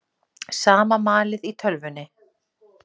Sama malið í tölvunni.